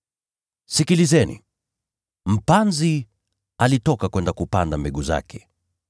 “Sikilizeni! Mpanzi alitoka kwenda kupanda mbegu zake.